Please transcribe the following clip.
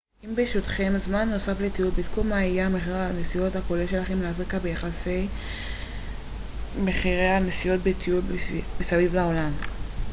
אם ברשותכם זמן נוסף לטיול בדקו מה יהיה מחיר הנסיעות הכולל שלכם לאפריקה ביחס למחירי נסיעות בטיול מסביב לעולם